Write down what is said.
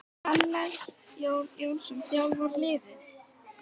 Hannes Jón Jónsson þjálfar liðið.